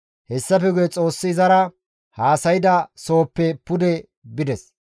Hessafe guye Xoossi izara haasayda sohoppe pude bides.